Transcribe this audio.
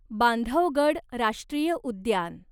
बांधवगड राष्ट्रीय उद्यान